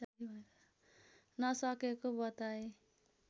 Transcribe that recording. नसकेको बताए